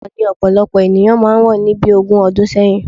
Ọkọ ni ọ̀pọ̀lọpọ̀ ènìyàn máa wọ̀ ni bí ogún ọdún sẹ́yìn